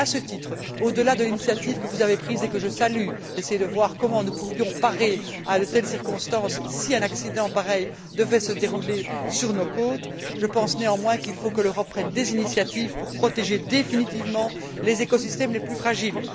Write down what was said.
À ce titre, au delà de l'initiative que vous avez prise et que je salue, d'essayer de voir comment nous pourrions faire face à de telles circonstances si un accident pareil devait se produire sur nos côtes, je pense néanmoins que l'Europe doit prendre des initiatives pour protéger définitivement les écosystèmes les plus fragiles.